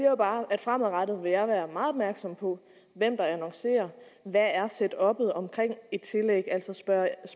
jo bare at fremadrettet vil jeg være meget opmærksom på hvem der annoncerer og hvad setuppet omkring et tillæg er altså spørge ind